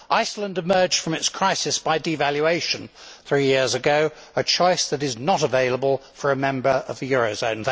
Iceland emerged from its crisis by devaluation three years ago, a choice that is not available for a member of the euro area.